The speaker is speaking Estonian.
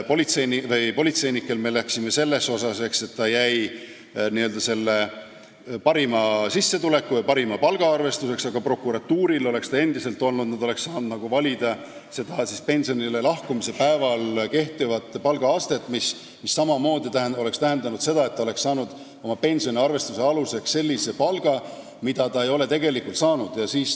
Politseinikel jäi selle arvestuse aluseks parim sissetulek või palk, aga prokuratuuris oleks endiselt saanud valida pensionile lahkumise päeval kehtivat palka, mis samamoodi oleks tähendanud, et pensioni arvestamise aluseks oleks võinud olla selline palk, mida see inimene ei olnud kunagi tegelikult saanud.